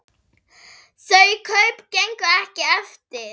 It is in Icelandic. Þau kaup gengu ekki eftir.